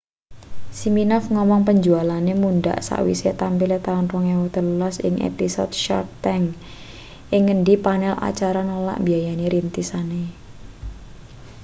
siminoff ngomong penjualane mundhak sakwise tampile taun 2013 ing episode shark tank ing ngendi panel acara nolak mbiayani rintisane